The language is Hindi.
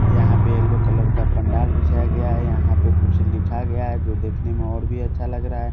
यहां पे येलो कलर का पंडाल बिछाया गया है यहां पे कुछ लिखा गया है जो देखने में और भी अच्छा लग रहा है।